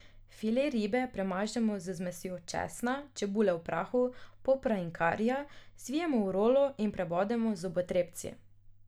File ribe premažemo z zmesjo česna, čebule v prahu, popra in karija, zvijemo v rolo in prebodemo z zobotrebci.